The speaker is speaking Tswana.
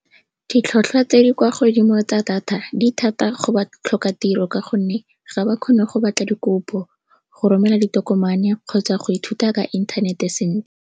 Ditlhwatlhwa tse di kwa godimo tsa data, di thata go batlhokatiro ka gonne ga ba kgone go batla dikopo, go romela ditokomane kgotsa go ithuta ka inthanete .